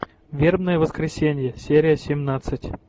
вербное воскресенье серия семнадцать